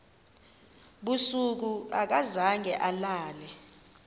busuku akazange alale